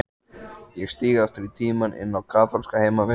Ég stíg aftur í tímann, inn á kaþólska heimavist.